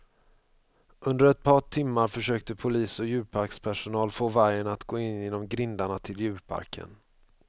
Under ett par timmar försökte polis och djurparkspersonal få vargen att gå in genom grindarna till djurparken.